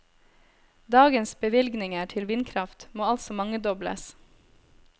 Dagens bevilgninger til vindkraft må altså mangedobles.